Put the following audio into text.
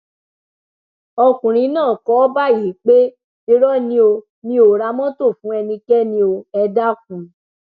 ọkùnrin náà kọ ọ báyìí pé irọ ni o mì ó ra mọtò fún ẹnikẹni ò ẹ dákun